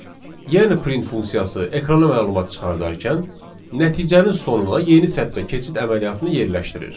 Yəni print funksiyası ekrana məlumat çıxardarkən nəticənin sonuna yeni sətrə keçid əməliyyatını yerləşdirir.